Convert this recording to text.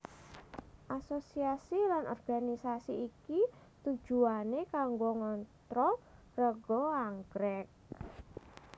Asosiasi lan organisasi iki tujuwané kanggo ngontrol rega anggrèk